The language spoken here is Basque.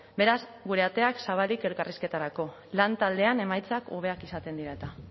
beraz gure ateak zabalik elkarrizketarako lantaldean emaitzak hobeak izaten dira eta